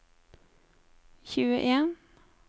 tjueen